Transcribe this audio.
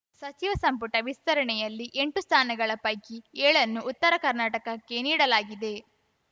ಸಚಿವ ಸಂಪುಟ ವಿಸ್ತರಣೆಯಲ್ಲಿ ಎಂಟು ಸ್ಥಾನಗಳ ಪೈಕಿ ಏಳನ್ನು ಉತ್ತರ ಕರ್ನಾಟಕ್ಕೇ ನೀಡಲಾಗಿದೆ